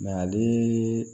ale